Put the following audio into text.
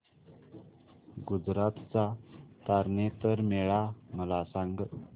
गुजरात चा तारनेतर मेळा मला सांग